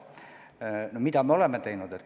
No mida me oleme teinud?